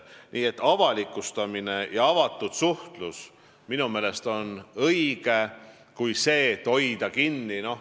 Nii et avalikustamine ja avatud suhtlus on minu meelest õigem kui see, et hoida infot kinni.